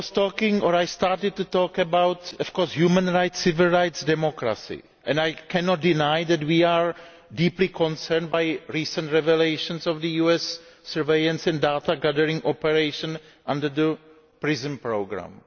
I was talking, or I started to talk, about human rights, civil rights and democracy, and I cannot deny that we are deeply concerned by recent revelations about US surveillance and data gathering operations under the Prism programme.